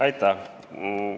Aitäh!